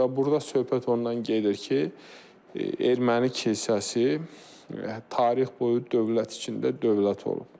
Və burda söhbət ondan gedir ki, erməni kilsəsi tarix boyu dövlət içində dövlət olub.